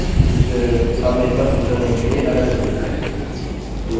फिर अब मेरे पास यूज़रनेम के लिए अलग स्वरुप है